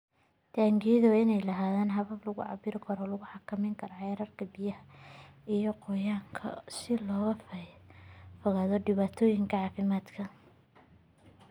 Taangiyada waa inay lahaadaan habab lagu cabbiro oo lagu xakameeyo heerarka biyaha iyo qoyaanka si looga fogaado dhibaatooyinka caafimaadka.